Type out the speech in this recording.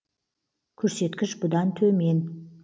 көрсеткіш бұдан төмен